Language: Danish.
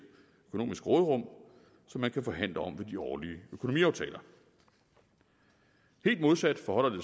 økonomisk råderum som man kan forhandle om ved de årlige økonomiaftaler helt modsat forholder det